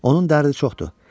Onun dərdi çoxdur.